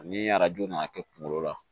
Ni arajo nana kɛ kunkolo la